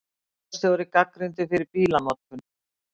Bæjarstjóri gagnrýndur fyrir bílanotkun